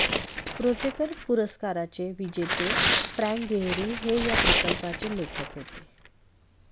प्रोजेकर पुरस्काराचे विजेते Frank Gehry हे या प्रकल्पाचे लेखक होते